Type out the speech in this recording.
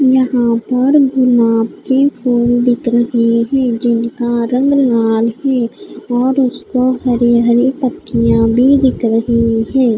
यहाँ पर गुलाब के फूल बिक रहे हैं जिनका रंग लाल है और उसका हरे हरे पत्तियाँ भी बिक रही हैं।